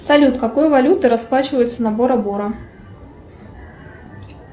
салют какой валютой расплачиваются на бора бора